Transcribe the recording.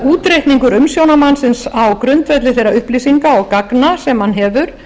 útreikningur umsjónarmannsins á grundvelli þeirra upplýsinga og gagna sem hann hefur